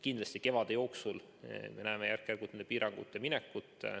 Kindlasti, kevade jooksul me näeme järk-järgult nendest piirangutest loobumist.